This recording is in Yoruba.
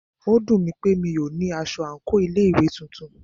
Ó dùnmí pé mí o ní aṣọ àńkò ilé ìwé titun.